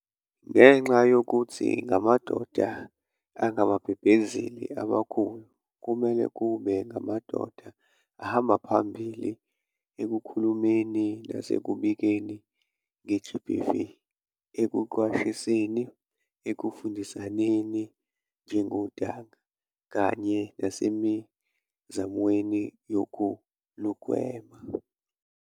Ngenxa yokuthi ngamadoda angababhebhezeli abakhulu, kumele kube ngamadoda ahamba phambili ekukhulumeni nasekubikeni nge-GBV, ekuqwashiseni, ekufundisaneni njengontanga kanye nasemizamweni yokulugwema.